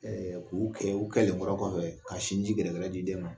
k'u kɛ u kɛlenkɔrɔ kɔfɛ ka sinji gɛdɛgdɛ di den ma